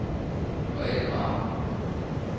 Grethe Kramer